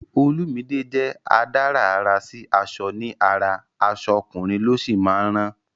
Olumide jẹ́ adárà àrà sí aṣọ ní ara, aṣọ ọkùnrin ló sì máa ń rán